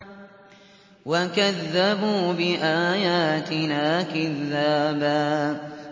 وَكَذَّبُوا بِآيَاتِنَا كِذَّابًا